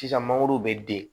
Sisan mangoro bɛ den